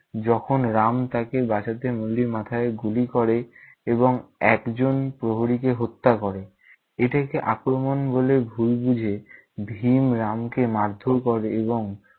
যখন রাম তাকে বাঁচাতে নল্লির মাথায় গুলি করে এবং একজন প্রহরীকে হত্যা করে। এইটাকে আক্রমন বলে ভুল বুঝে ভীম রামকে মারধর করে এবং-